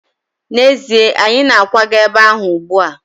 N'ezie, anyị na-akwaga ebe ahụ ugbu a.